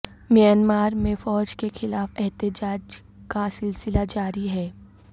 Myanmar میں فوج کے خلاف احتجاج کا سلسلہ جاری ہے